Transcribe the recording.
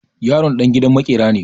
Yaron ɗan gidan maƙera ne.